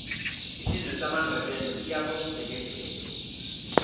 isizwe samandebele siyakomjekejeke